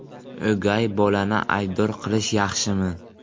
O‘gay bolani aybdor qilish yaxshimi?